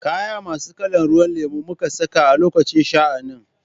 Kaya masu kalan ruwan lemo muka saka a lokacin sha'anin.